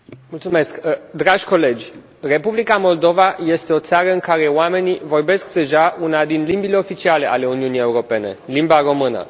Domnule președinte, dragi colegi, Republica Moldova este o țară în care oamenii vorbesc deja una din limbile oficiale ale Uniunii Europene, limba română.